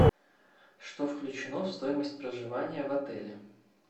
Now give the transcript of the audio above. что включено в стоимость проживания в отеле